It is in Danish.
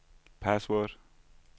password